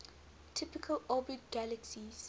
typically orbit galaxies